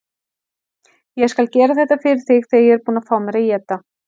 Ég skal gera þetta fyrir þig þegar ég er búinn að fá mér að éta.